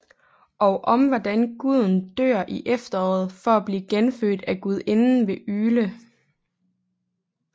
Og om hvordan Guden dør i efteråret for at blive genfødt af Gudinden ved Yule